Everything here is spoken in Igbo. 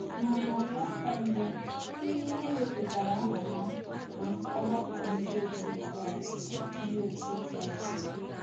Na narị afọ mbụ, ‘ ndị e wepụtaara aha ya ’ bụ ọgbakọ ndị otu Kraịst ndị otu Kraịst.